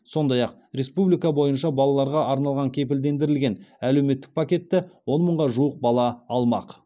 сондай ақ республика бойынша балаларға арналған кепілдендірілген әлеуметтік пакетті он мыңға жуық бала алмақ